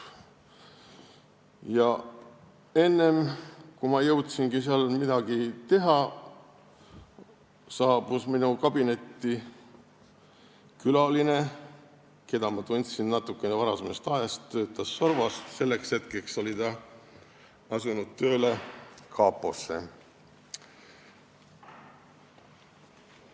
Ja enne, kui ma jõudsin midagi teha, saabus minu kabinetti külaline, keda ma tundsin natukene varasemast ajast, ta töötas varem SORVVO-s, selleks hetkeks oli ta asunud tööle kaposse.